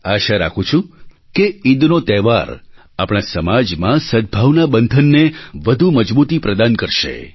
આશા રાખું છું કે ઈદનો તહેવાર આપણા સમાજમાં સદભાવના બંધનને વધુ મજબૂતી પ્રદાન કરશે